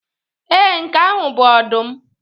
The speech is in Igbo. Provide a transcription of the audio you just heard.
Ee, nke ahụ bụ ọdụm.